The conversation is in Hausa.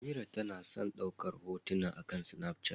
Amira na son daukar hotuna akan Snapchat.